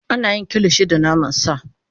Ana yin Kilishi da naman sa